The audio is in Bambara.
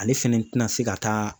Ale fɛnɛ tɛ n'a se ka taa